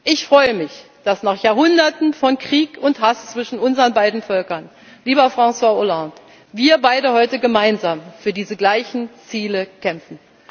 müssen. Ich freue mich, dass nach Jahrhunderten von Krieg und Hass zwischen unseren beiden Völkern, lieber François Hollande, wir beide heute gemeinsam für diese gleichen Ziele kämpfen.